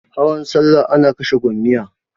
Hawan salla ana kashe gomiyya.